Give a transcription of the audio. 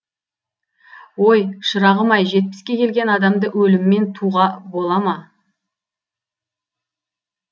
ой шырағым ай жетпіске келген адамды өліммен туға бола ма